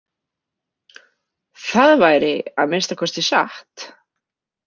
Það væri að minnsta kosti satt.